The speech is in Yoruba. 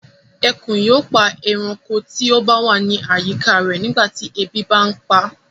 Ẹkùn yóò pa ẹranko tí ó ba wa ni àyíká rẹ̀ nígbà tí ebi bà ń paa